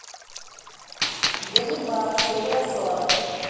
ганнибал серия сорок